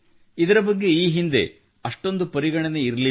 ಇದರ ಬಗ್ಗೆ ಈ ಹಿಂದೆ ಅಷ್ಟೊಂದು ಪರಿಗಣನೆ ಇರಲಿಲ್ಲ